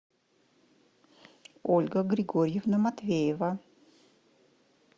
ольга григорьевна матвеева